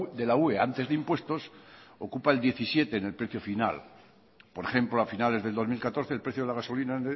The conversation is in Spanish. de la ue antes de impuestos ocupa el diecisiete en el precio final por ejemplo a finales del dos mil catorce el precio de la gasolina